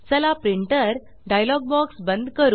चला printer dialog box बंद करू